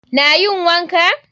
Na yin wanka.